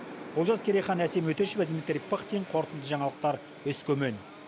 олжас керейхан әсем өтешова дмитрий пыхтин қорытынды жаңалықтар өскемен